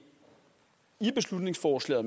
her beslutningsforslag